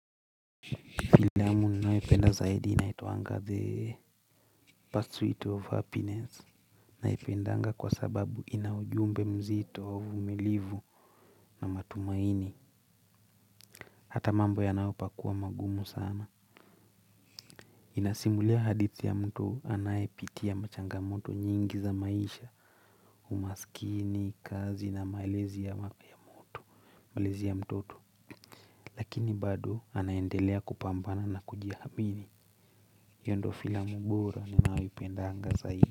Filamu ninayoipenda zaidi inaitwaga the pursuit of happiness. Naipendaga kwa sababu ina ujumbe mzito wa uvimilivu na matumaini. Hata mambo yanapokuwa magumu sana. Inasimulia hadithi ya mtu anaepitia machangamoto nyingi za maisha umasikini kazi na malezi ya mtoto. Lakini bado anaendelea kupambana na kujiamini hiyo ndo filamu bora ninayoipendaga zaidi.